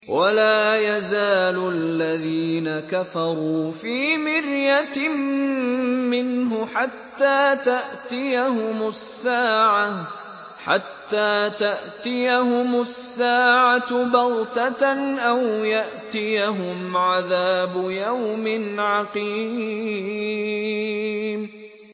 وَلَا يَزَالُ الَّذِينَ كَفَرُوا فِي مِرْيَةٍ مِّنْهُ حَتَّىٰ تَأْتِيَهُمُ السَّاعَةُ بَغْتَةً أَوْ يَأْتِيَهُمْ عَذَابُ يَوْمٍ عَقِيمٍ